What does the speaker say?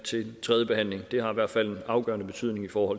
tredjebehandlingen det har i hvert fald en afgørende betydning for